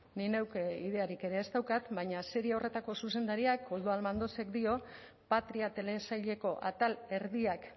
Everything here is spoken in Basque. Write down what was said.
nik neuk ideiarik ere ez daukat baina serie horretako zuzendariak koldo almandozek dio patria telesaileko atal erdiak